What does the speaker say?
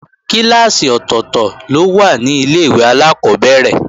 Kíláàsì ọ̀tọ̀tọ̀ ló wà ní Ilé-ìwé alákọ́bẹ̀rẹ̀